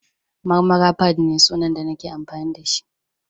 Marmara_fadd ne sunan da nake amfani da shi